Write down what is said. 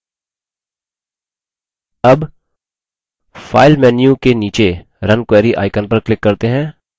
अब file menu bar के नीचे run query icon पर click करते हैं